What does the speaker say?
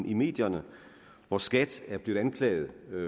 i medierne hvor skat er blevet anklaget